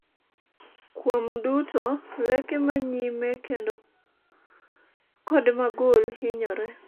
kuom duto, leke ma nyime kendo kod magul hinyore